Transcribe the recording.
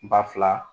Ba fila